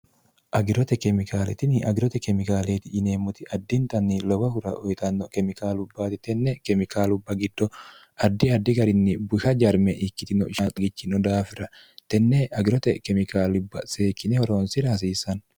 agirote kemikaaletini agirote kemikaaleri yineemmoti addintanni loba hura oyitanno kemikaalubbaati tenne kemikaalubba giddo addi addi garinni busha jarme ikkitino sxgichino daafira tenne agirote kemikaalubba seekkine horoonsira hasiissanno